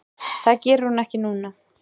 Það geri hún ekki núna.